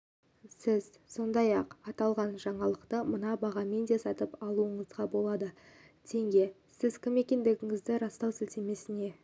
сіз сондай-ақ аталған жаңалықты мына бағамен де сатып алуыңызға болады тенге сіз кім екендігіңізді растау сілтемесіне